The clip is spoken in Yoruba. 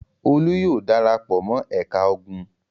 Olú yóò dara pọ̀ mọ́ ẹ̀ka ogun!